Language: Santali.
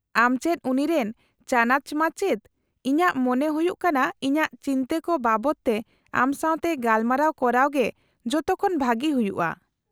-ᱟᱢ ᱪᱮᱫ ᱩᱱᱤᱨᱮᱱ ᱪᱟᱱᱟᱪ ᱢᱟᱪᱮᱫ, ᱤᱧᱟᱹᱜ ᱢᱚᱱᱮ ᱦᱩᱭᱩᱜ ᱠᱟᱱᱟ ᱤᱧᱟᱹᱜ ᱪᱤᱱᱛᱟᱹ ᱠᱚ ᱵᱟᱵᱚᱫ ᱛᱮ ᱟᱢ ᱥᱟᱶᱛᱮ ᱜᱟᱯᱟᱞᱢᱟᱨᱟᱣ ᱠᱚᱨᱟᱣ ᱜᱮ ᱡᱚᱛᱚᱠᱷᱚᱱ ᱵᱷᱟᱹᱜᱤ ᱦᱩᱭᱩᱜᱼᱟ ᱾